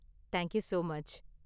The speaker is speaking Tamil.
Thank you so much.